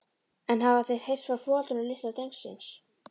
En hafa þeir heyrt frá foreldrum litla drengsins?